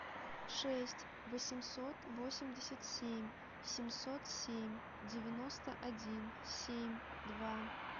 шесть восемьсот восемьдесят семь семьсот семь девяносто один семь два